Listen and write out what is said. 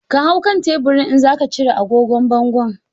Ka hau kan teburin in zaka cire agogon bangon.